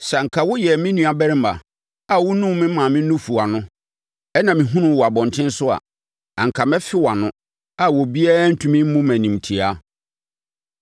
Sɛ anka woyɛɛ me nuabarima a wonum me maame nufu ano, ɛna mehunuu wo wɔ abɔntene so a, anka mɛfe wʼano, a obiara ntumi mmu me animtiaa.